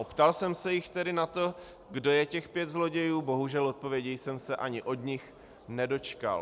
Optal jsem se jich tedy na to, kdo je těch pět zlodějů, bohužel odpovědi jsem se ani od nich nedočkal.